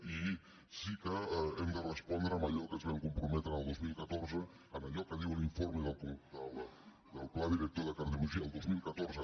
i sí que hem de respondre amb allò a què ens vam comprome·tre el dos mil catorze amb allò que diu l’informe del pla director de cardiologia el dos mil catorze